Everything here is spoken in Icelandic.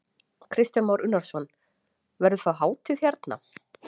Kristján Már Unnarsson: Verður þá hátíð hérna?